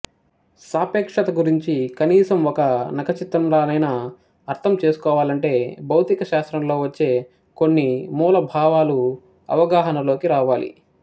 సాపేక్షత గురించి కనీసం ఒక నఖచిత్రంలానైనా అర్థం చేసుకోవాలంటే భౌతిక శాస్త్రంలో వచ్చే కొన్ని మూల భావాలు అవగాహనలోకి రావాలి